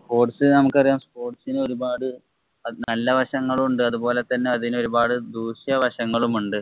Sports നമുക്കറിയാം sports ഇന് ഒരുപാട് അത് നല്ല വശങ്ങളും ഉണ്ട്. അതുപോലെ തന്നെ ഒരുപാട് ദൂഷ്യ വശങ്ങളും ഉണ്ട്.